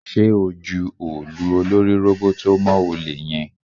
Ṣé o ju òòlù olórí róbótó mọ́ olè yẹn?